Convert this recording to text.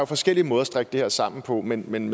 forskellige måder at strikke det her sammen på men men